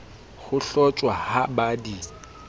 ho hlotjhwa ha ba di